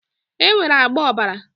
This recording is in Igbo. Enwere agba ọ̀bàrà